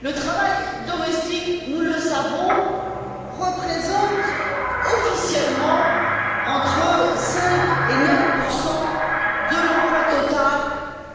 Le travail domestique, nous le savons, représente officiellement entre 5 et 9 de l'emploi total